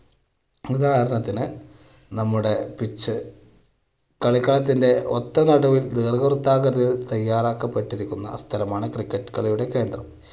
ഉദാഹരണത്തിന് നമ്മുടെ pitch കളിക്കളത്തിന്റെ ഒത്ത നടുവിൽ ദീർഘവൃത്താകൃതിയിൽ തയ്യാറാക്കപ്പെട്ടിരിക്കുന്ന സ്ഥലമാണ് cricket കളിയുടെ കേന്ദ്രം.